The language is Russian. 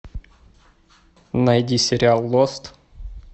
найди сериал лост